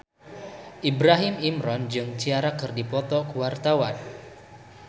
Ibrahim Imran jeung Ciara keur dipoto ku wartawan